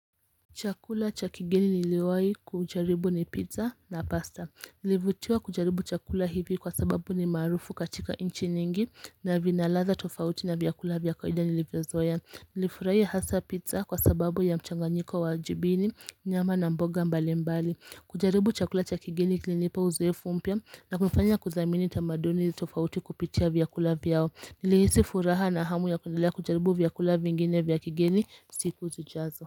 Chakula cha kigeni niliwahi kujaribu ni pizza na pasta. Nilivutiwa kujaribu chakula hivi kwa sababu ni maarufu katika nchi nyingi na vina ladha tofauti na vyakula vya kawaida nilivyo zoea. Nilifurahia hasa pizza kwa sababu ya mchanganyiko wa jibini nyama na mboga mbali mbali kujaribu chakula cha kigeni kilinipa uzoefu mpya na kunifanya kudhamini tamaduni tofauti kupitia vyakula vyao nilihisi furaha na hamu ya kuendelea kujaribu vyakula vingine vya kigeni siku zijazo.